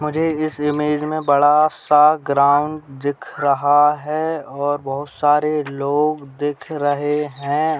मुझे इस इमेज में बड़ा सा ग्राउंड दिख रहा है और बहुत सारे लोग दिख रहे हैं।